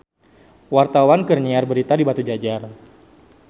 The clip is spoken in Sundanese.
Wartawan keur nyiar berita di Batujajar